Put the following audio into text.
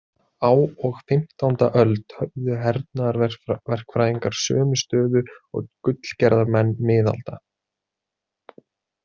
Á og fimmtánda öld höfðu hernaðarverkfræðingar sömu stöðu og gullgerðarmenn miðalda.